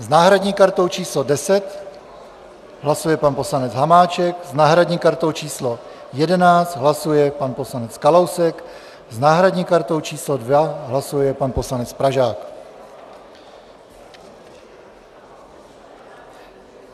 S náhradní kartou číslo 10 hlasuje pan poslanec Hamáček, s náhradní kartou číslo 11 hlasuje pan poslanec Kalousek, s náhradní kartou číslo 2 hlasuje pan poslanec Pražák.